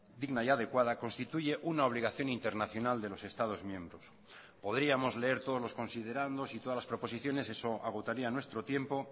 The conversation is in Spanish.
digna y adecuada constituye una obligación internacional de los estados miembros podríamos leer todos los considerandos y todas las proposiciones eso agotaría nuestro tiempo